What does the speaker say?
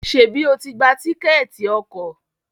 Ṣebi o tí gbà Tíkẹ́ẹ̀tì ọkọ̀?